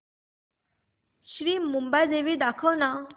श्री मुंबादेवी दाखव ना